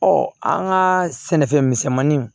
Ɔ an ka sɛnɛfɛn misɛnmanin